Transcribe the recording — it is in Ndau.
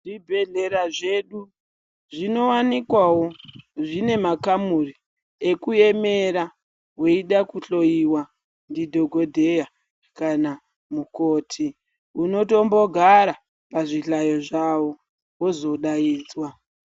Zvibhedhlera zvedu zvinowanikwawo zvine makamuri ekuemera weida kuhloyiwa ndidhokodheya kana mukoti . Unotombogara pazvihlayo zvavo wozodaidzwa.